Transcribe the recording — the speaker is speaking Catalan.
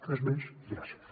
res més i gràcies